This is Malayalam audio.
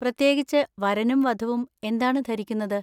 പ്രത്യേകിച്ച്, വരനും വധുവും എന്താണ് ധരിക്കുന്നത്?